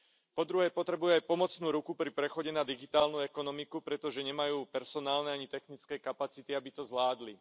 Po druhé potrebujú aj pomocnú ruku pri prechode na digitálnu ekonomiku, pretože nemajú personálne ani technické kapacity, aby to zvládli.